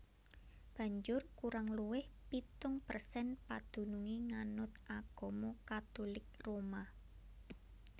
Banjur kurang luwih pitung persen padunungé nganut agama Katulik Roma